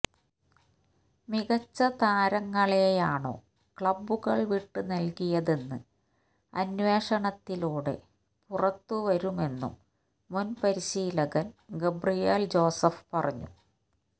മികച്ച താരങ്ങളെയാണൊ ക്ലബുകൾ വിട്ടു നൽകിയതെന്ന് അന്വേഷണത്തിലൂടെ പുറത്തു വരുമെന്നും മുൻപരിശീലകൻ ഗബ്രിയേൽ ജോസഫ് പറഞ്ഞു